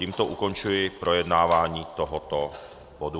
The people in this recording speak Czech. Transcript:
Tímto ukončuji projednávání tohoto bodu.